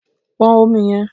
Pon Omi yẹn